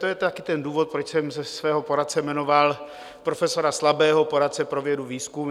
To je také ten důvod, proč jsem svým poradcem jmenoval profesora Slabého, poradcem pro vědu, výzkum.